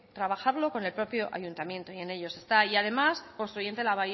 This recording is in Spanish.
trabajarlo con el propio ayuntamiento y en ello se está y además